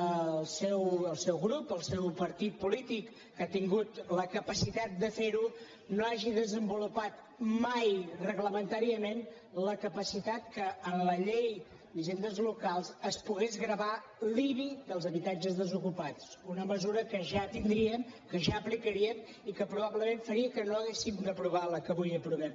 el seu grup el seu partit polític que ha tingut la capacitat de ferho no hagi desenvolupat mai reglamentàriament la capacitat que en la llei d’hisendes locals es pogués gravar l’ibi dels habitatges desocupats una mesura que ja tindríem que ja aplicaríem i que probablement faria que no haguéssim d’aprovar la que avui aprovem